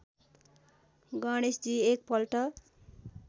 गणेशजी एक पल्ट